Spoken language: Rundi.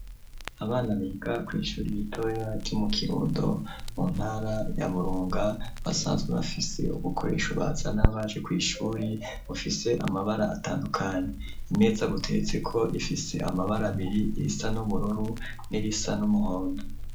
Abana biga ku ishure ritoya ryo mu kirundo mu ntara ya burunga basanzwe bafise ubukoresho bazana baje ku ishure bufise amabara atandukanye imeza butetse ko ifise amabara abiri isa n'ubururu nirisa n'umuhondo.